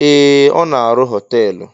Ee! Ọ na-arụ họteelụ.